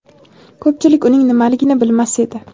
Ko‘pchilik uning nimaligini bilmas edi.